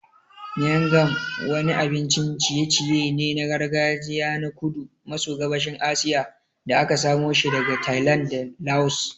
Miang kham wani abincin ciye-ciye ne na gargajiya na kudu maso gabashin Asiya da aka samoshi daga Thailand da Laos.